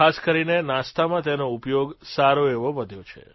ખાસ કરીને નાસ્તામાં તેનો ઉપયોગ સારો એવો વધ્યો છે